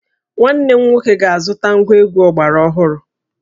Nwanne m nwoke ga-azụta ngwa egwu ọgbara ọhụrụ